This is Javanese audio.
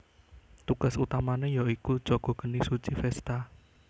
Tugas utamane ya iku jaga geni suci Vesta